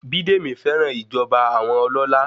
Bídèmí fẹ́ràn ìjọba àwọn ọlọlá.